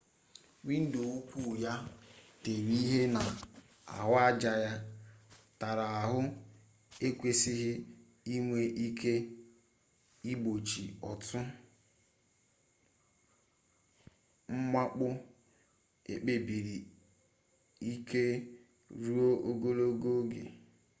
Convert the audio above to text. windo ukwu ya e tere ihe na ahụaja ya tara ahụ ekwesịghị inwe ike igbochi otu mwakpo ekpebisiri ike ruo ogologo oge